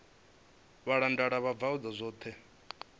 vhalanda vho bva khuḓa dzoṱhe